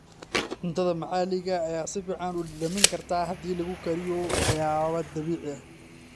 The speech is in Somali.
Cunnada maxalliga ah ayaa si fiican u dhadhamin karta haddii lagu kariyo waxyaabo dabiici ah.